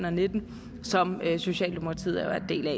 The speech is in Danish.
og nitten som socialdemokratiet er en del af